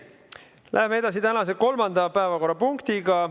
Läheme edasi tänase kolmanda päevakorrapunktiga.